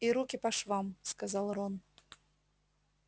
и руки по швам сказал рон